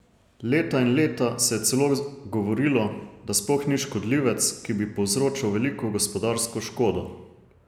Leta in leta se je celo govorilo, da sploh ni škodljivec, ki bi povzročal veliko gospodarsko škodo.